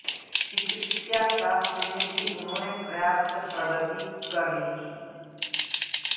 चिकित्साशास्त्र में भी उन्होंने पर्याप्त प्रगति कर ली थी